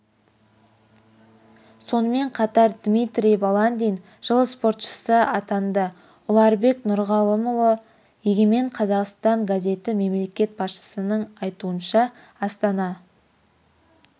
сонымен қатар дмитрий баландин жыл спортшысы атанды ұларбек нұрғалымұлы егемен қазақстан газеті мемлекет басшысының айтуынша астана